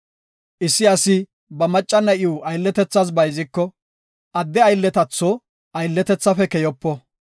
“Issi asi ba macca na7iw aylletethas bayziko, adde aylletatho aylletethaafe keyopo.